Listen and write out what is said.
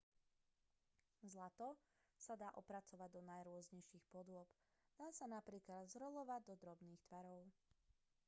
zlato sa dá opracovať do najrôznejších podôb dá sa napríklad zrolovať do drobných tvarov